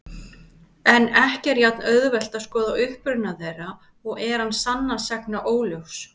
En ekki er jafn-auðvelt að skoða uppruna þeirra og er hann sannast sagna óljós.